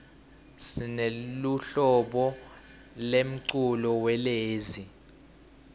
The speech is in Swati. sineluhlobo lemculo welezi